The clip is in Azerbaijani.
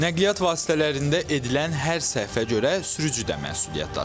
Nəqliyyat vasitələrində edilən hər səhvə görə sürücü də məsuliyyət daşıyır.